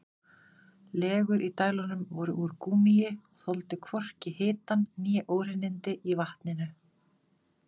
Legur í dælunum voru úr gúmmíi og þoldu hvorki hitann né óhreinindi í vatninu.